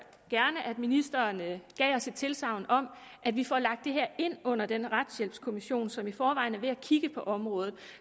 gerne at ministeren gav os et tilsagn om at vi får lagt det her ind under den retshjælpskommission som i forvejen er ved at kigge på området